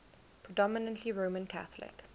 predominantly roman catholic